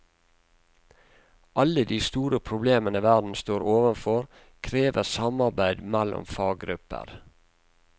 Alle de store problemene verden står overfor, krever samarbeid mellom faggrupper.